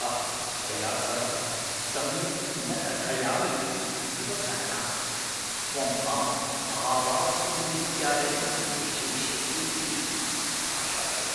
अहं त्वया सह सम्यक् न कथयामि इत्येव कारणात्, त्वं माम् आवासीयं विद्यालयं न प्रेषयिष्यसि इति आशासे